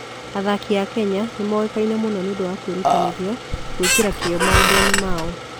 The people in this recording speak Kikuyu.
Athaki a Kenya nĩ moĩkaine mũno nĩ ũndũ wa kwĩrutanĩria gwĩkĩra kĩyo maũndũ-inĩ mao.